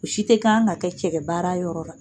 U si tɛ kan ka kɛ cɛgɛ baara yɔrɔ la